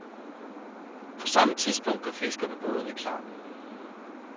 På samme tidspunkt gør fiskerne bådene klar.